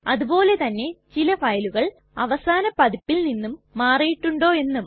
അതുപോലെ തന്നെ ചില ഫയലുകൾ അവസാന പതിപ്പിൽ നിന്നും മാറിയിട്ടുണ്ടോ എന്നും